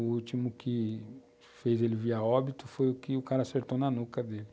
O último que fez ele vir a óbito foi o que o cara acertou na nuca dele.